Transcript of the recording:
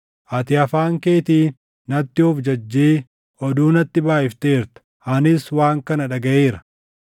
Ati afaan keetiin natti of jajjee oduu natti baayʼifteerta; anis waan kana dhagaʼeera.